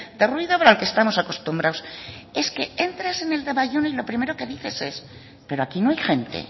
de ruido al que estamos acostumbrados es que entras en el de bayona y lo primero que dices es pero aquí no hay gente